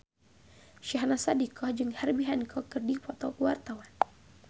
Syahnaz Sadiqah jeung Herbie Hancock keur dipoto ku wartawan